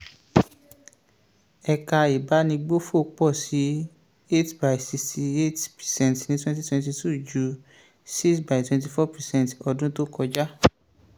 ẹ̀ka ìbánigbófò pọ̀ sí 8.68 percent ní 2022 ju 6.24 percent ọdún tó kọjá.